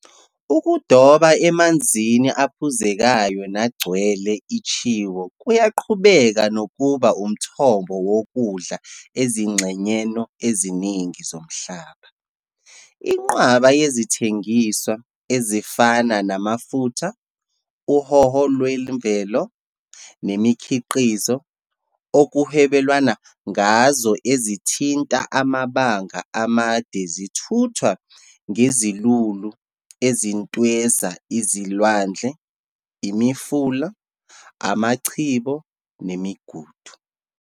Ukudoba emanzini aphuzekayo nagcwele itshiwo kuyaqhubeka nokuba umthombo wokudla ezingxenyeno eziningi zomhlaba. Inqwaba yezithengiswa, ezifana namafutha, uhowo lwemvelo, nemikhiqizo, okuhwebelwana ngazo ezithinta amabanga amade zithuthwa ngezilulu ezintweza izilwandle, imifula, amachibo nemigudu.